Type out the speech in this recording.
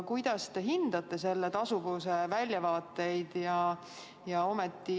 Kuidas te hindate selle tasuvuse väljavaateid?